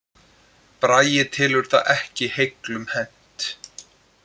Bragi telur það ekki heiglum hent